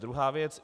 Druhá věc.